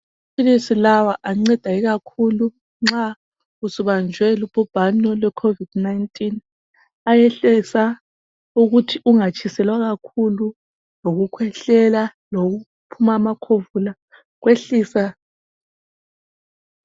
Amaphilisi lawa anceda ikakhulu nxa usubanjwe lubhubhane lwe COVID-19 ayehlisa ukuthi ungatshiselwa kakhulu, lokukhwehlela lokuphuma amakhovula kuyehlisa.